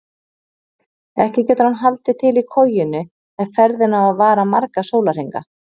Ekki getur hann haldið til í kojunni ef ferðin á að vara marga sólarhringa.